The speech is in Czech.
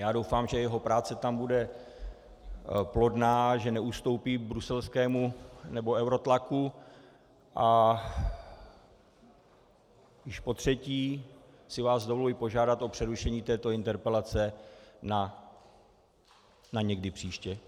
Já doufám, že jeho práce tam bude plodná, že neustoupí bruselskému nebo eurotlaku, a již potřetí si vás dovoluji požádat o přerušení této interpelace na někdy příště.